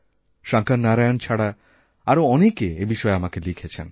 শঙ্কর নারায়ণ ছাড়া আরও অনেকে এ বিষয়ে আমাকে লিখেছেন